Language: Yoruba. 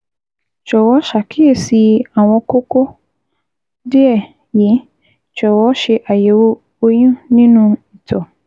Jọ̀wọ́ ṣàkíyèsí àwọn kókó díẹ̀ yìí: Jọ̀wọ́ ṣe àyẹ̀wò oyún nínú ìtọ̀